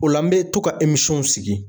O la n bɛ to ka sigi.